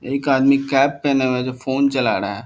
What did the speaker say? एक आदमी कैप पहने हुए हैं जो फोन चला रहा है।